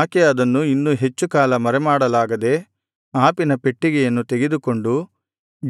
ಆಕೆ ಅದನ್ನು ಇನ್ನು ಹೆಚ್ಚುಕಾಲ ಮರೆಮಾಡಲಾಗದೆ ಆಪಿನ ಪೆಟ್ಟಿಗೆಯನ್ನು ತೆಗೆದುಕೊಂಡು